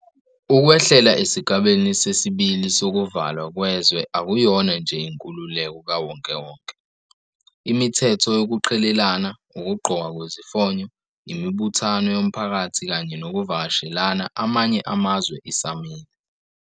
Ukwehlela esigabeni sesi-2 sokuvalwa kwezwe akuyona nje 'inkululeko kawonkewonke.' Imithetho yokuqhelelana, ukugqokwa kwezifonyo, imibuthano yomphakathi kanye nokuvakashela amanye amazwe isamile.